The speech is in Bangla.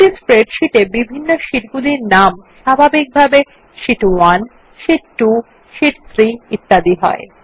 একটি স্প্রেডশীট এ বিভিন্ন শীটগুলির নাম স্বাভাবিকভাবে শীট 1 শীট 2 শীট 3 ইত্যাদি হয়